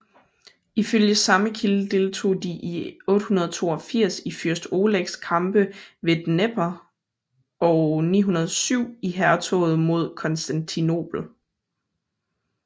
Ifølge samme kilde deltog de i 882 i fyrst Olegs kampe ved Dnepr og 907 i hærtoget mod Konstantinopel